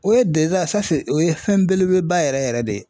O ye o ye fɛn belebeleba yɛrɛ yɛrɛ de ye.